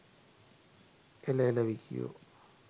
එල එල විකියෝ